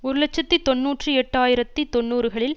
ஒரு இலட்சத்தி தொன்னூற்றி எட்டு ஆயிரத்தி தொன்னூறுகளில்